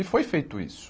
E foi feito isso.